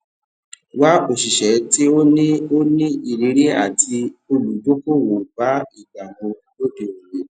wa òṣìṣẹ tí o ní o ní ìrírí ati olùdókòwò bá ìgbà mu lóde òní